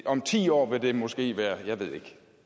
om ti år vil det måske være